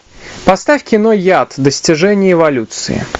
поставь кино яд достижение эволюции